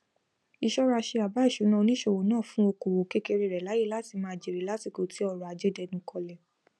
ìṣọraṣe àbá ìṣúná oníṣòwò náà fún okoòwò kékeré rẹ láyè láti máa jère lásìkò tí ọrọajé dẹnu kọlẹ